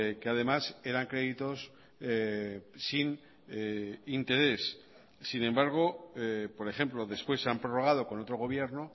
que además eran créditos sin interés sin embargo por ejemplo después se han prorrogado con otro gobierno